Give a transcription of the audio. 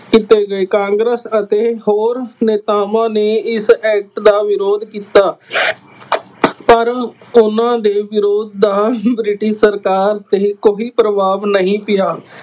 ਕੀਤੇ ਗਏ। ਕਾਂਗਰਸ ਅਤੇ ਹੋਰ ਨੇਤਾਵਾਂ ਨੇ ਇਸ ਐਕਟ ਦਾ ਵਿਰੋਧ ਕੀਤਾ। ਪਰ ਉਹਨਾ ਦੇ ਵਿਰੋਧ ਦਾ ਬ੍ਰਿਟਿਸ਼ ਸਰਕਾਰ ਤੇ ਕੋਈ ਪ੍ਰਭਾਵ ਨਹੀਂ ਪਿਆ।